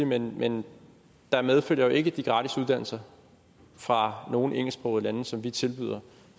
men men der medfølger jo ikke de gratis uddannelser fra noget engelsksproget land som vi tilbyder